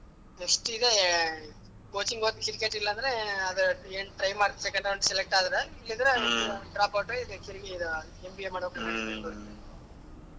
Next ಇದೆ coaching ಹೋಗ್ತೀನಿ cricket ಇಲ್ಲಾ ಅಂದ್ರೆ try ಮಾಡ್ತೀನಿ second round select ಆದ್ರೆ ಇಲ್ಲಾ ಅಂದ್ರೆ dropout ಆಗಿ ಇದು MBA ಮಾಡ್ಬೇಕು .